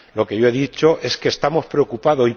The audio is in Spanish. Lo que yo he dicho es que estamos preocupados.